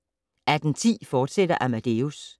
18:10: Amadeus, fortsat